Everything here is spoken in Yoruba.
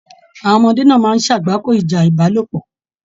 Àwọn ọmọdé náà máa n sagbako ìjà ìbálòpọ̀.